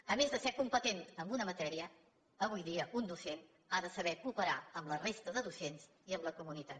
a més de ser competent en una matèria avui dia un docent ha de saber cooperar amb la resta de docents i amb la comunitat